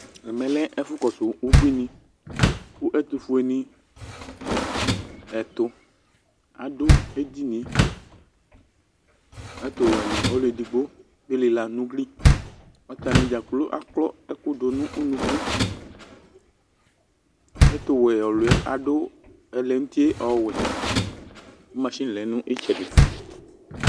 Ɛmɛ lɛ ɛfʋ kɔsʋ ubuini: kʋ ɛtʋ fue ni ɛtʋ adʋ edinie; ɛtʋ wɛ nɩ ɔlʋ edigbo bɩ lɩla nʋ ugliAtanɩ dzakplo akɔ ɛkʋ dʋ nʋ unuku Ɛtʋ wɛ ɔlʋɛ adʋ ɛlɛnʋuti ɔwɛ kʋ masini lɛ nʋ ɩtsɛdɩ